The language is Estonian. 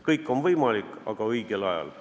Kõik on võimalik, aga kõike tuleb teha õigel ajal.